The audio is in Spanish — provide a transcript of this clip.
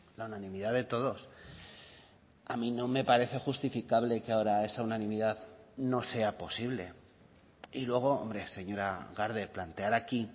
la unanimidad de todos a mí no me parece justificable que ahora esa unanimidad no sea posible y luego hombre señora garde plantear aquí